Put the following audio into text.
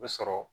Bɛ sɔrɔ